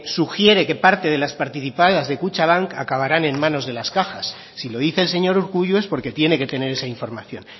sugiere que parte de las participadas de kutxabank acabarán en manos de las cajas si lo dice el señor urkullu es porque tiene que tener esa información